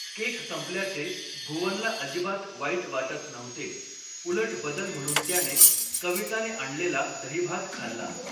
Cake संपल्याचे भुवनला अजिबात वाईट वाटत नव्हते, उलट बदल म्हणून त्याने कविताने आणलेला दहीभात खाल्ला.